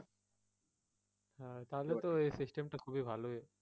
হ্যাঁ তাহলে তো এই system টা খুব ভালোই।